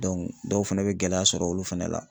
dɔw fɛnɛ bɛ gɛlɛya sɔrɔ olu fɛnɛ la.